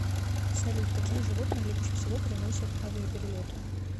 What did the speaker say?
салют какие животные легче всего переносят авиаперелеты